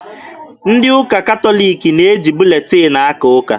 Ndị ụka katọliki na-eji buletin akaa ụka.